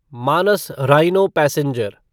Manas rhino passenger